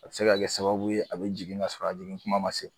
A bɛ se ka kɛ sababu ye a bi jigin ka sɔrɔ a jigin kuma ma se